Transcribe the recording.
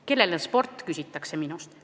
Kellele sport, küsitakse minult.